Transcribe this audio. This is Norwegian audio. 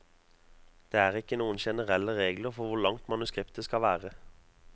Det er ikke noen generelle regler for hvor langt manuskriptet skal være.